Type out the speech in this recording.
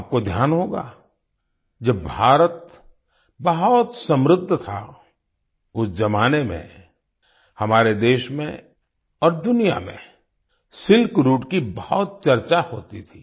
आपको ध्यान होगा जब भारत बहुत समृद्ध था उस ज़माने में हमारे देश में और दुनिया मेंसिल्क राउटे की बहुत चर्चा होती थी